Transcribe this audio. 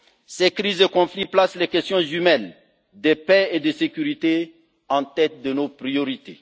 Ces crises et conflits placent les questions jumelles de paix et de sécurité en tête de nos priorités.